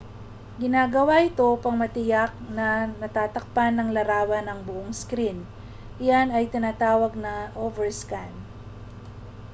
ginagawa ito upang matiyak na natatakpan ng larawan ang buong screen iyan ay tinatawag na overscan